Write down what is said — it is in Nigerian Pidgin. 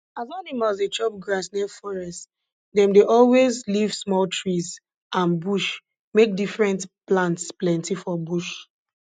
as animals dey chop grass near forest dem dey always leave small trees and bush make different plants plenty for bush